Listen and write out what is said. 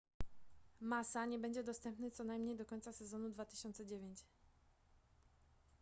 massa nie będzie dostępny co najmniej do końca sezonu 2009